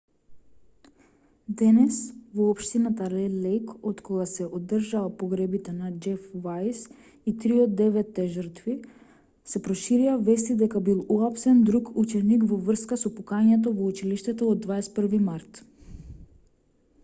денес во општината ред лејк откако се одржаа погребите на џеф вајс и три од деветте жртви се проширија вести дека бил уапсен друг ученик во врска со пукањето во училиштето од 21 март